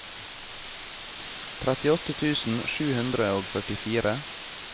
trettiåtte tusen sju hundre og førtifire